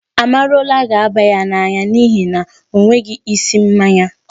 Amarula ga-aba ya n'anya n'ihi na ọ nweghị isi mmanya.